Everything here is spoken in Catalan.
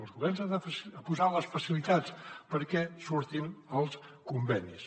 els governs han de posar les facilitats perquè surtin els convenis